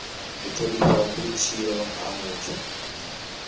u thonifha vhutshilo ha muthu